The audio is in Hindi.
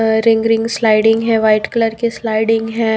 अ रिंग रिंग स्लाइडिंग है वाइट कलर के स्लाइडिंग है।